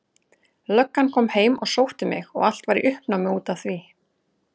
Löggan kom heim og sótti mig og allt var í uppnámi út af því.